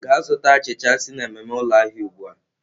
Gaa zụta achịcha si n'ememe ụlọ ahịa ugbu a!